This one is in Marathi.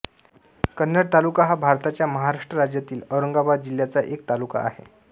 कन्नड तालुका हा भारताच्या महाराष्ट्र राज्यातील औरंगाबाद जिल्ह्याचा एक तालुका आहे